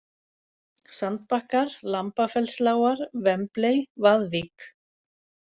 Sandbakkar, Lambafellslágar, Wembley, Vaðvík